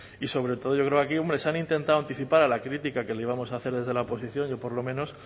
y sobre todo yo creo que aquí se han intentado anticipar a la crítica que le íbamos a hacer desde la oposición yo por lo menos